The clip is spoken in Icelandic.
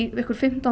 fimmtán